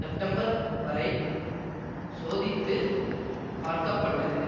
September வரை சோதித்து பார்க்கப்பட்டது